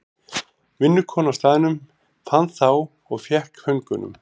Vinnukona á staðnum fann þá og fékk föngunum.